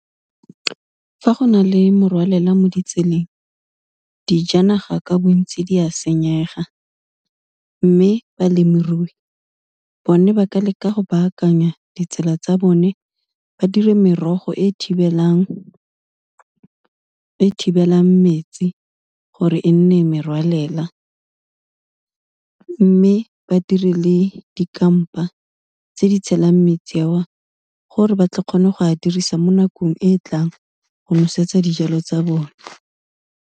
Fa go na le morwalela mo ditseleng, dijanaga ka bontsi di a senyega, mme balemirui bone ba ka leka go baakanya ditsela tsa bone ba dire merogo e thibelelang metsi gore e nne merwalela, mme ba dirile dikampa tse di tshelang metsi a o, gore ba tle kgone go a dirisa mo nakong e e tlang, go nosetsa dijalo tsa bone.